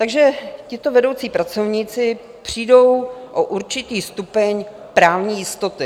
Takže tito vedoucí pracovníci přijdou o určitý stupeň právní jistoty.